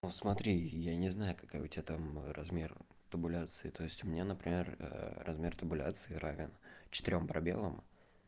но смотри я не знаю какая у тебя там размер табуляции то есть меня например размер табуляции равен четырём пробелам